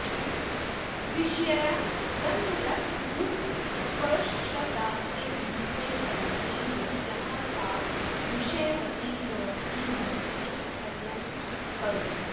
विषया गन्धरसरूपस्पर्शशब्दास्ते विद्यन्ते फलत्वेन यस्याः सा विषयवती प्रवृत्तिर्मनसः स्थैर्यं करोति